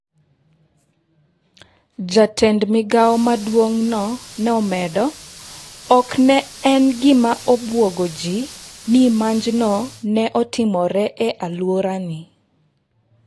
Jatend migao maduongno ne omedo: "ok ne en gima obuogo ji ni monjno ne otimore e aluorani".